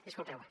disculpeu me